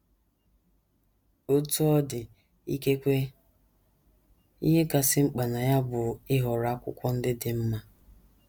Otú ọ dị, ikekwe ihe kasị mkpa na ya bụ ịhọrọ akwụkwọ ndị dị mma.